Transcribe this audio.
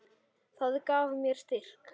Það gaf mér styrk.